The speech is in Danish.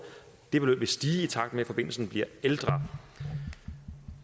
det beløb vil stige i takt med at forbindelsen bliver ældre